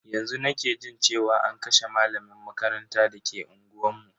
Yanzu nake jin cewa an kashe malamin makaranta dake unguwanmu.